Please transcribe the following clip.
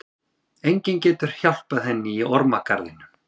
Enginn getur hjálpað henni í ormagarðinum.